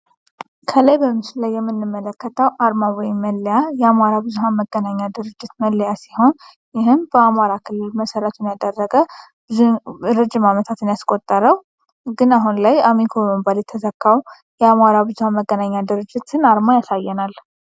ከላይ በምስሉ ላይ የምንመለከተው አርማ ወይም መለያ የአማራ መገናኛ ብዙሃን ድርጅት መለያ ሲሆን ይህም በአማራ ክልል መሰረቱን ያደረገ ረጅም አመታትን ያስቆጠረ ግን አሁን ላይ አሚኮ በመባል የተተካው የአማራ ብዙሃን መገናኛ ድርጅት አርማ ያሳየናል።